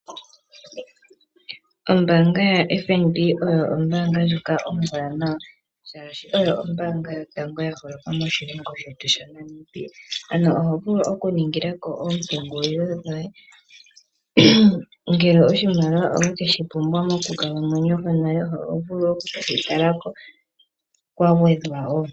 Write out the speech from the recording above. Ombanga yaFNB oyo ombanga ndyoka ombwanawa shashi oyo ombanga yotango ya holoka moshilongo shetu shaNamibia. Oho vulu oku ningilako oompungulilo dhoye, ngele oshimaliwa owekeshi pumbwa mokukalamwenyo konale oho vulu oku keyi tala ko kwagwedhwa.